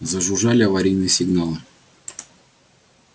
зажужжали аварийные сигналы